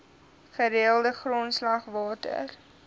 gereelde grondslag water